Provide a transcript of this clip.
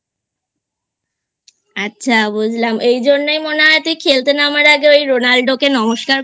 আচ্ছা বুঝলাম এই জন্যেই মনে হয় তুই খেলতে নামার আগে ওই Ronaldo কে নমস্কার